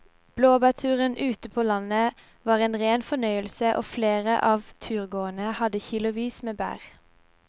Blåbærturen ute på landet var en rein fornøyelse og flere av turgåerene hadde kilosvis med bær.